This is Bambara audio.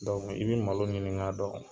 i bɛ malo ɲini k'a dɔn